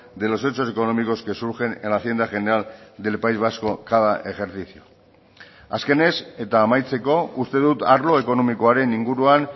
de los hechos económicos que surgen en la hacienda general del país vasco cada ejercicio azkenez eta amaitzeko uste dut arlo ekonomikoaren inguruan